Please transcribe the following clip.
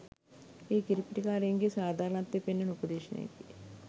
එය කිරිපිටි කාරයින්ගේ සාධාරණත්වය පෙන්වන උපදේශයකි.